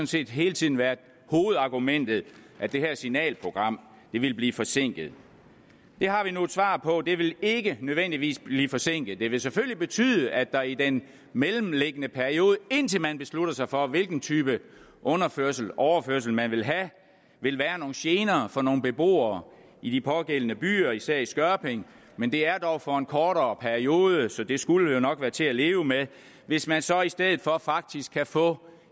set hele tiden været hovedargumentet at det her signalprogram ville blive forsinket det har vi nu et svar på det vil ikke nødvendigvis blive forsinket det vil selvfølgelig betyde at der i den mellemliggende periode indtil man beslutter sig for hvilken type underførseloverførsel man vil have vil være nogle gener for nogle beboere i de pågældende byer især i skørping men det er dog for en kortere periode så det skulle jo nok være til at leve med hvis man så i stedet for faktisk kan få